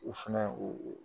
U fɛnɛ o o